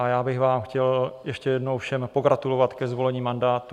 A já bych vám chtěl ještě jednou všem pogratulovat ke zvolení mandátu.